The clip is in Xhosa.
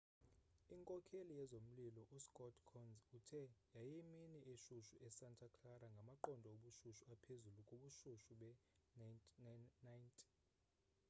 inkokheli yezomlilo uscott kouns uthe yayiyimini eshushu esanta clara ngamaqondo obushushu aphezulu kubushushu bee-90